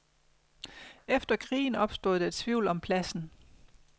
Efter krigen opstod der tvivl om pladsen.